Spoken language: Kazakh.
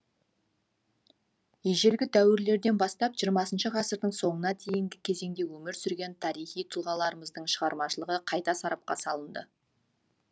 ежелгі дәуірлерден бастап жиырмасыншы ғасырдың соңына дейінгі кезеңде өмір сүрген тарихи тұлғаларымыздың шығармашылығы қайта сарапқа салынды